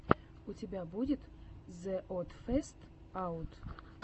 у тебя будет зе од фестс аут